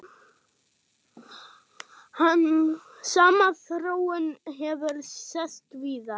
Sama þróun hefur sést víðar.